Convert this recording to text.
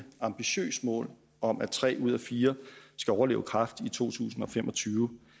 ambitiøst mål om at tre ud af fire skal overleve kræft i to tusind og fem og tyve